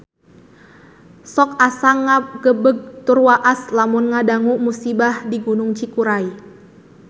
Sok asa ngagebeg tur waas lamun ngadangu musibah di Gunung Cikuray